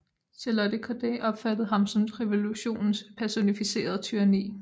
Charlotte Corday opfattede ham som revolutionens personificerede tyranni